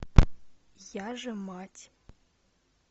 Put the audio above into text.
я же мать